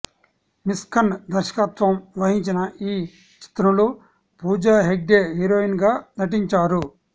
మిస్కిన్ దర్శకత్వం వహించిన ఈ చిత్రంలో పూజా హెగ్డే హీరోయిన్ గా నటించారు